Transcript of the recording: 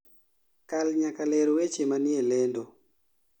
kal nyaka ler weche manie lendo